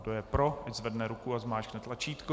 Kdo je pro, ať zvedne ruku a zmáčkne tlačítko.